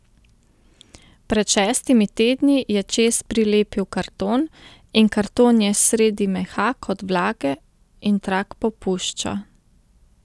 Pred šestimi tedni je čez prilepil karton in karton je sredi mehak od vlage in trak popušča.